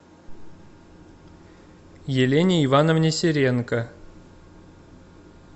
елене ивановне серенко